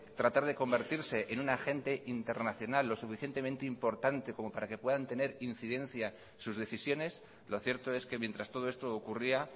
tratar de convertirse en un agente internacional lo suficientemente importante como para que puedan tener incidencia sus decisiones lo cierto es que mientras todo esto ocurría